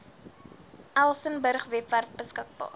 elsenburg webwerf beskikbaar